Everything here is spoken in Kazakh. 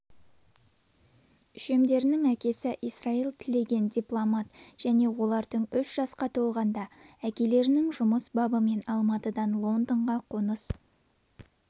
үшемдердің әкесі исраил тілеген дипломат және олар үш жасқа толғанда әкелерінің жұмыс бабымен алматыдан лондонға қоныс